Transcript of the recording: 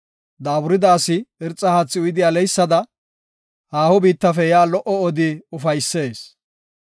Daaburida asi irxa haathi uyidi aleysada, haaho biittafe yaa lo77o odi ufaysees.